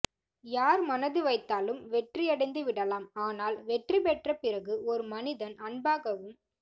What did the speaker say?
யார் மனது வைத்தாலும் வெற்றியடைந்து விடலாம் ஆனால் வெற்றி பெற்ற பிறகு ஒரு மனிதன் அன்பாகவும்